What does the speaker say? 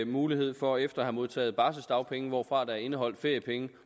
mulighed for efter at have modtaget barseldagpenge hvorfra der er indeholdt feriepenge